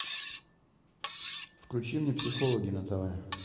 включи мне психологи на тв